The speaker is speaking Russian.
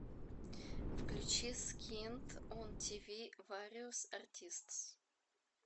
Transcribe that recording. включи скинт он тиви вариос артистс